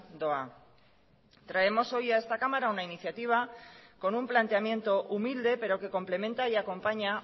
doa traemos hoy a esta cámara una iniciativa con un planteamiento humilde pero que complementa y acompaña